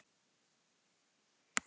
Ófelía, hringdu í Alfríði.